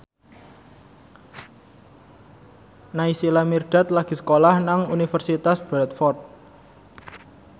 Naysila Mirdad lagi sekolah nang Universitas Bradford